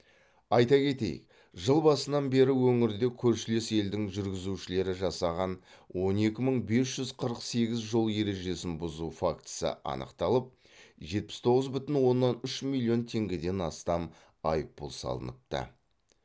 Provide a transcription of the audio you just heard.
айта кетейік жыл басынан бері өңірде көршілес елдің жүргізушілері жасаған он екі мың бес жүз қырық сегіз жол ережесін бұзу фактісі анықталып жетпіс тоғыз бүтін оннан үш миллион теңгеден астам айыппұл салыныпты